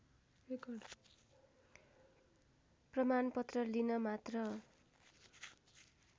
प्रमाणपत्र लिन मात्र